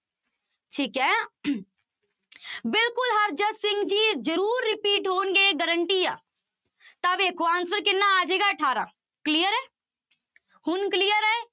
ਠੀਕ ਹੈ ਬਿਲਕੁਲ ਹਰਜਤ ਸਿੰਘ ਜੀ ਜ਼ਰੂਰ repeat ਹੋਣਗੇ guarantee ਆ ਤਾਂ ਵੇਖੋ answer ਕਿੰਨਾ ਆ ਜਾਏਗਾ ਅਠਾਰਾਂ clear ਹੈ ਹੁਣ clear ਹੈ।